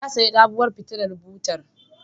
Ya sayi sabuwar fitilar babur